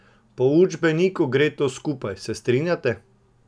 Po učbeniku gre to skupaj, se strinjate?